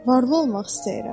Varlı olmaq istəyirəm.